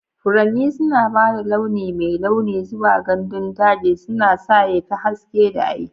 Furanni suna ba da launi mai launi zuwa gandun daji, suna sa ya fi haske da aiki.